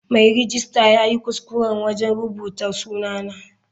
Mai rejista yayi kuskure wajen rubuta sunana.